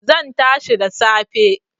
Zan tashi da safe